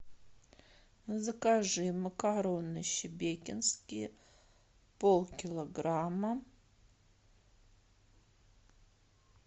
закажи макароны шебекинские полкилограмма